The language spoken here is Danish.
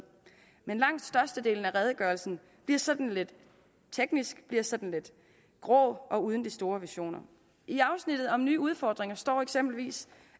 men langt størstedelen af redegørelsen bliver sådan lidt teknisk bliver sådan lidt grå og uden de store visioner i afsnittet om nye udfordringer står der eksempelvis